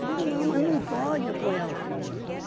Eu digo, não, mas não pode apoiar o filho.